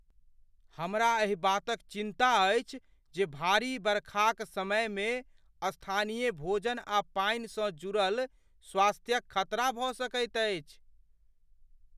हमरा एहि बातक चिन्ता अछि जे भारी बरखाक समयमे स्थानीय भोजन आ पानिसँ जुड़ल स्वास्थ्यक खतरा भऽ सकैत अछि।